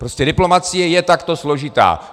Prostě diplomacie je takto složitá.